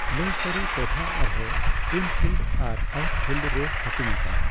ᱞᱟᱹᱭᱥᱟᱹᱨᱤ ᱴᱚᱴᱷᱟ ᱟᱨᱦᱚᱸ 'ᱤᱱᱯᱷᱤᱞᱰ' ᱟᱨ 'ᱟᱣᱩᱴᱯᱷᱤᱞᱰ ᱿'ᱨᱮ ᱦᱟᱹᱴᱤᱧ ᱟᱠᱟᱱᱟ ᱾